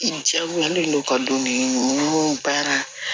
I diyagoyalen don u ka don min baara